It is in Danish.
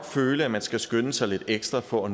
føle at man skal skynde sig lidt ekstra for at